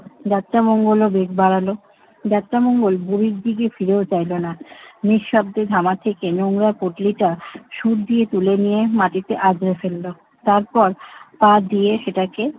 যাত্রামঙ্গল ও বেগ বাড়াল। যাত্রামঙ্গল বুড়ির দিকে ফিরেও চাইল না। নিঃশব্দে ধামা থেকে নোংরা পুটলিটা সুড় দিয়ে তুলে নিয়ে মাটিতে আছড়ে ফেলল। তারপর পা দিয়ে সেটাকে